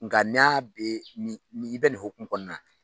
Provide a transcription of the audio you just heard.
Nka n'a be nin i bɛ nin hokumu kɔnɔna na